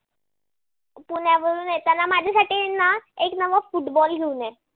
पुण्यावरून येताना माझ्यासाठी आहे ना? अल न football घेऊन ये.